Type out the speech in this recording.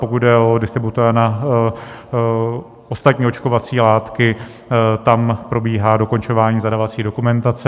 Pokud jde o distributora na ostatní očkovací látky, tam probíhá dokončování zadávací dokumentace.